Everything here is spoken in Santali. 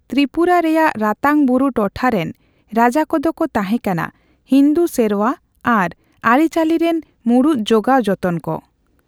ᱛᱨᱤᱯᱩᱨᱟ ᱨᱮᱭᱟᱜ ᱨᱟᱛᱟᱝ ᱵᱩᱨᱩ ᱴᱚᱴᱷᱟ ᱨᱮᱱ ᱨᱟᱡᱟ ᱠᱚᱫᱚ ᱠᱚ ᱛᱟᱦᱮᱸᱠᱟᱱᱟ ᱦᱤᱱᱫᱩ ᱥᱮᱨᱣᱟ ᱟᱨ ᱟᱹᱨᱤᱼᱪᱟᱹᱞᱤ ᱨᱮᱱ ᱢᱩᱬᱩᱛ ᱡᱚᱜᱟᱣ ᱡᱚᱛᱚᱱ ᱠᱚ᱾